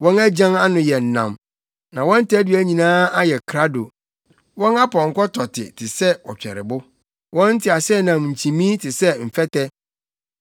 Wɔn agyan ano yɛ nnam, na wɔn tadua nyinaa ayɛ krado; wɔn apɔnkɔ tɔte te sɛ ɔtwɛrebo, wɔn nteaseɛnam nkyimii te sɛ mfɛtɛ.